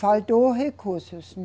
Faltou recursos.